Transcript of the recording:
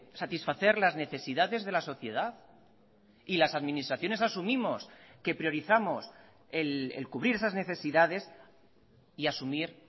satisfacer las necesidades de la sociedad y las administraciones asumimos que priorizamos el cubrir esas necesidades y asumir